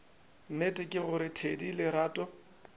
nnete ke gore thedi lerato